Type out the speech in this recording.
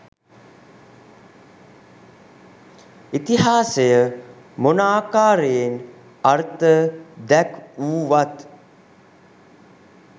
ඉතිහාසය මොන ආකාරයෙන් අර්ථ දැක්වුවත්